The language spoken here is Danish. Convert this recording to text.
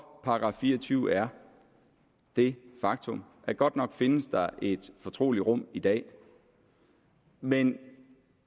§ fire og tyve er det faktum at godt nok findes der et fortroligt rum i dag men